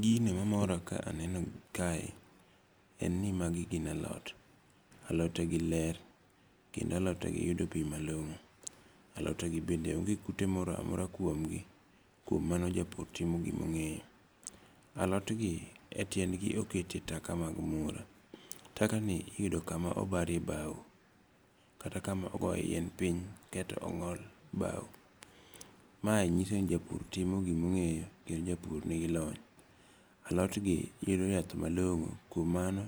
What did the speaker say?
Gino mamora ka aneno kae en ni magi gin alot. Alote gi ler kendo alote gi yudo pi malong'o. Alote gi bende onge kute moro amora kuomgi. Kuom mano japur timo gimong'eyo. Alot gi e tiendgi okete taka mag muora. Taka ni iyudo kama obare bao kata kama ogoe yien piny kaeto ong'ol bau. Mae nyiso ni japur timo gimong'eyo. Kendo japur nigi lony. Alot gi yudo yath malong'o kuom mano